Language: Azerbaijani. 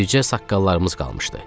Bircə saqqallarımız qalmışdı.